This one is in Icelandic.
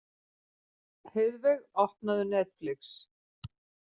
Heiðveig, opnaðu Netflix.